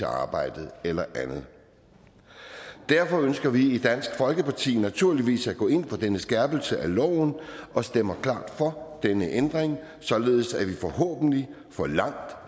arbejde eller andet derfor ønsker vi i dansk folkeparti naturligvis at gå ind for denne skærpelse af loven og stemmer klart for denne ændring således at vi forhåbentlig får langt